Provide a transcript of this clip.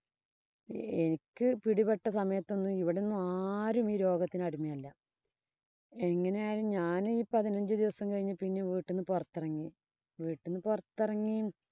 എനിക്ക് പിടിപ്പെട്ട സമയത്തോന്നും ഇവിടൊന്നും ആരും ഈ രോഗത്തിനടിമയല്ല. എങ്ങനെയായാലും ഞാനീ പതിനഞ്ചു ദിവസം കഴിഞ്ഞപ്പം പിന്നെ വീട്ടീന്ന് പൊറത്തെറങ്ങി വീട്ടീന്ന് പൊറത്തെറങ്ങി